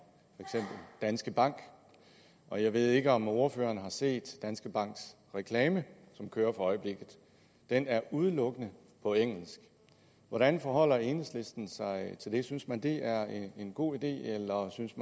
danske bank og jeg ved ikke om ordføreren har set danske banks reklame som kører for øjeblikket den er udelukkende på engelsk hvordan forholder enhedslistens sig til det synes man det er en god idé eller synes